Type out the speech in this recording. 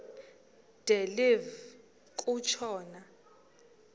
de live kutshona